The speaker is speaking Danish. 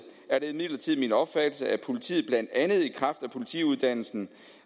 er det imidlertid min opfattelse at politiet blandt andet i kraft af politiuddannelsen